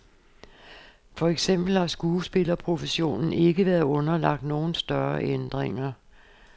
For eksempel har skuespillerprofessionen ikke været underlagt nogen større ændringer.